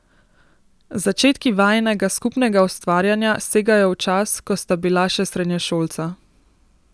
Začetki vajinega skupnega ustvarjanja segajo v čas, ko sta bila še srednješolca.